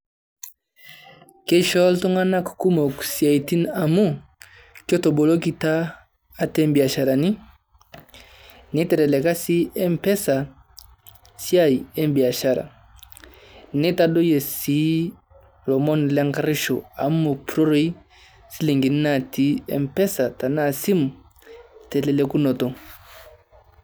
Keishoo iltung`anak kumok siaitin amu ketobolokita ate biasharani, neiteleleka sii mpesa siai e biashara. Neitadoyio sii lomon le nkairuosho amu mopurroroyu shilingini natii mpesa tenaa esimu telelekunoto.